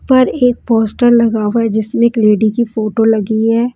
उपर एक पोस्टर लगा हुआ है जिसमें एक लेडी की फोटो लगी है।